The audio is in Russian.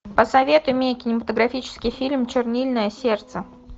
посоветуй мне кинематографический фильм чернильное сердце